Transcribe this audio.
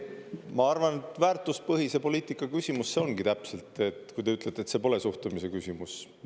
Ma arvan, väärtuspõhise poliitika küsimus see ongi täpselt, kui te ütlete, et see pole suhtumise küsimus.